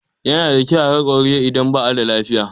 Yana da kyau a ga ƙwararre idan ba a da lafiya.